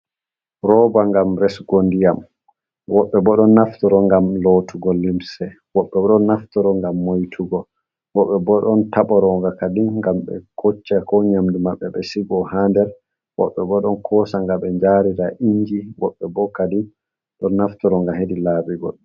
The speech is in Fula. Rooba ngam resugo ndiyam. Woɓɓe bo ɗon naftoro ngam lotugo limse. woɓɓe bo ɗon naftoro ngam moitugo. woɓɓe bo ɗon taboro nga kadi ngam be kocca ko nyamdu maɓɓe be sigo ha der. Woɓɓe bo ɗon kosa nga be njaarira inji. Woɓɓe bo kadin ɗon naftoro nga hedi laabi goɗɗi.